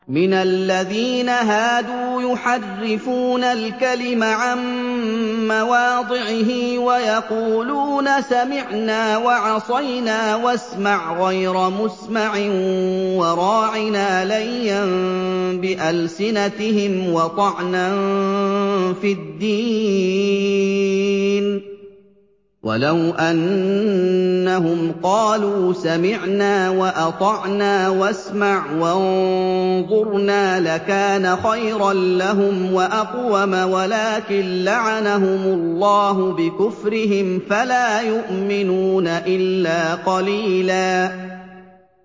مِّنَ الَّذِينَ هَادُوا يُحَرِّفُونَ الْكَلِمَ عَن مَّوَاضِعِهِ وَيَقُولُونَ سَمِعْنَا وَعَصَيْنَا وَاسْمَعْ غَيْرَ مُسْمَعٍ وَرَاعِنَا لَيًّا بِأَلْسِنَتِهِمْ وَطَعْنًا فِي الدِّينِ ۚ وَلَوْ أَنَّهُمْ قَالُوا سَمِعْنَا وَأَطَعْنَا وَاسْمَعْ وَانظُرْنَا لَكَانَ خَيْرًا لَّهُمْ وَأَقْوَمَ وَلَٰكِن لَّعَنَهُمُ اللَّهُ بِكُفْرِهِمْ فَلَا يُؤْمِنُونَ إِلَّا قَلِيلًا